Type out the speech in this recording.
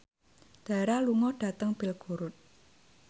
Dara lunga dhateng Belgorod